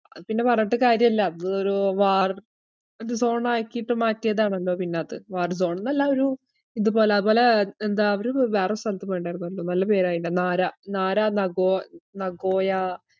പിന്ന പറഞ്ഞിട്ട് കാര്യല്ല. അതൊരു war ഒരു zone ആക്കീട്ട് മാറ്റിയതാണല്ലോ പിന്നത് war zone ന്നല്ല ഒരു ഇതുപോല. അതുപോലെ എന്താ അവര് റി~ വേറൊരു സ്ഥലത്ത് പോയിട്ട്ണ്ടായിരുന്നു അന്ന്. നല്ല പേരാ അയിൻറെ. നാരാ, നാരാ നഗോ~ നഗോയാ,